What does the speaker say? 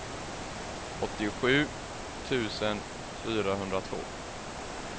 åttiosju tusen fyrahundratvå